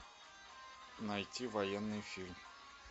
найти военный фильм